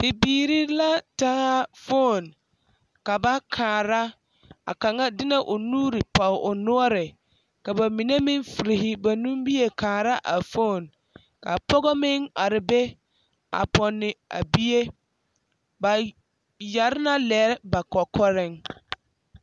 Bibiiri la taa foni ka ba kaara a kaŋa de na o nuuri pɔge o noɔre ka ba mine meŋ furi ba nimie kaara a foni ka pɔge meŋ are be a pɔnne a bie ba yɛre na lɛre ba kɔkɔreŋ.